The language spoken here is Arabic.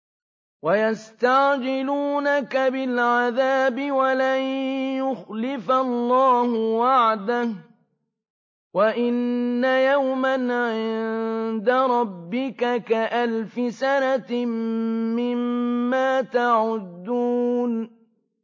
وَيَسْتَعْجِلُونَكَ بِالْعَذَابِ وَلَن يُخْلِفَ اللَّهُ وَعْدَهُ ۚ وَإِنَّ يَوْمًا عِندَ رَبِّكَ كَأَلْفِ سَنَةٍ مِّمَّا تَعُدُّونَ